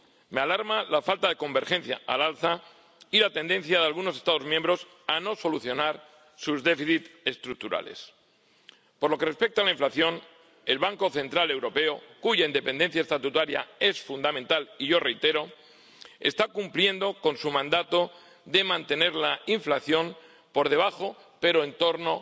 Me alarma la falta de convergencia al alza y la tendencia de algunos Estados miembros a no solucionar sus déficits estructurales. Por lo que respecta a la inflación, el Banco Central Europeo, cuya independencia estatutaria es fundamental, y yo reitero, está cumpliendo con su mandato de mantener la inflación por debajo, pero en torno